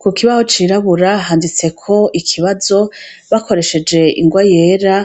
Ku kibaho cirabura handitseko ikibazo bakoresheje ingoa yera